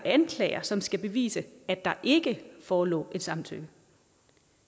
anklager som skal bevise at der ikke forelå et samtykke